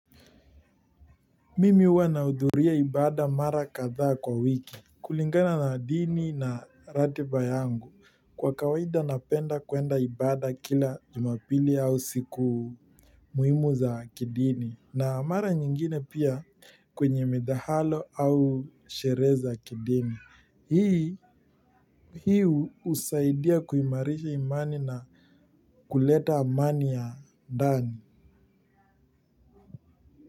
Mimi huwa nahudhuria ibada mara kathaa kwa wiki. Kulingana na dini na ratiba yangu kwa kawaida napenda kwenda ibada kila jumapili au siku muhimu za kidini. Na mara nyingine pia kwenye midhahalo au sherehe za kidini hii hii usaidia kuimarisha imani na kuleta amani ya ndani.